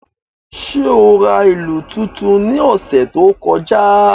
Ṣe o ra ilu tuntun ni ọsẹ to kọja?